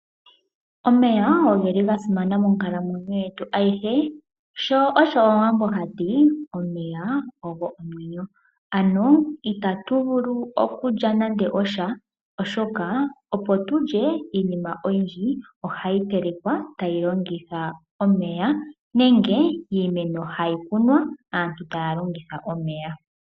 Omeya ogeli ga simana monkalamwenyo yetu ayihe. Sho osho omuwambo hati omeya ogo omwenyo. Ano itatu vulu nande okulya nande osha oshoka iinima oyindji ohayi tekelwa tayi longitha omeya. Nenge iimeno tayi kunwa aantu taa longitha omeya.